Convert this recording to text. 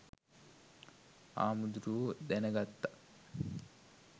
හාමුදුරුවො දැන ගත්තත්